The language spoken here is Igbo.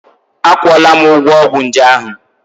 Akwụọla m ụgwọ ọgwụ nje ahụ.